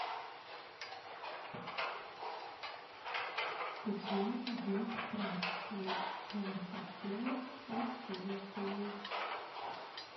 где здесь прачечная я бы хотела воспользоваться ею